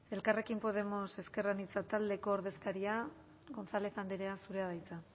elkarrekin podemos ezker anitza taldeko ordezkaria gonzález andrea zurea da hitza